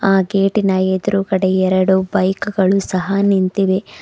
ಆ ಗೇಟಿನ ಎದುರುಗಡೆ ಎರಡು ಬೈಕ್ ಗಳು ಸಹ ನಿಂತಿವೆ.